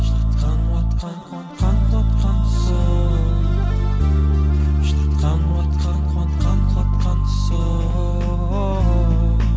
жылатқан уатқан қуантқан қуантқан сол жылатқан уатқан қуантқан қуантқан сол